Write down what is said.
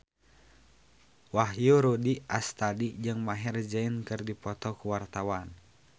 Wahyu Rudi Astadi jeung Maher Zein keur dipoto ku wartawan